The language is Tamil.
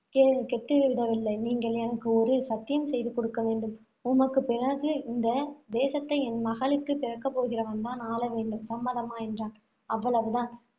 கே~ கெட்டுவிடவில்லை நீங்கள் எனக்கு ஒரு சத்தியம் செய்து கொடுக்க வேண்டும். உமக்குப் பிறகு இந்த தேசத்தை என் மகளுக்கு பிறக்கப்போகிறவன் தான் ஆளவேண்டும் சம்மதமா என்றான். அவ்வளவு தான்